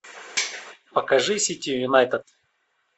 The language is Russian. покажи сити юнайтед